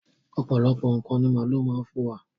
Ọ̀pọ̀lọpọ̀ ǹkan ní màálu má ń fún wa.